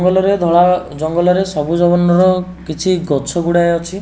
ଙ୍ଗଲରେ ଧଳା ଜଙ୍ଗଲରେ ସବୁଜ ବର୍ଣ୍ଣର କିଛି ଗଛ ଗୁଡ଼ାଏ ଅଛି।